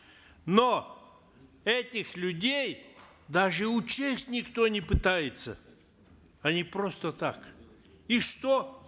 но этих людей даже учесть никто не пытается они просто так и что